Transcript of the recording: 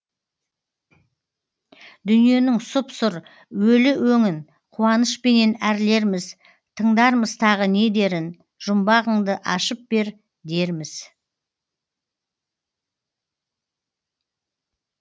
дүниенің сұп сұр өлі өңін қуанышпенен әрлерміз тыңдармыз тағы не дерін жұмбағыңды ашып бер дерміз